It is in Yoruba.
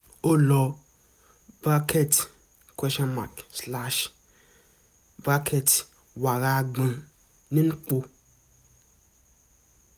ó lo bracket question mark slash bracket wàrà àgbọn dipo